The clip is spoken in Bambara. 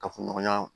Kafo ɲɔgɔnya